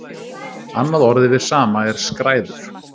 Annað orð yfir sama er skræður.